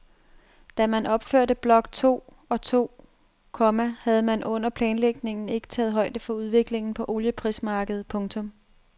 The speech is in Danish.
Da man opførte blok to og to, komma havde man under planlægningen ikke taget højde for udviklingen på olieprismarkedet. punktum